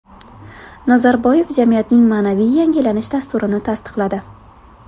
Nazarboyev jamiyatning ma’naviy yangilanish dasturini tasdiqladi.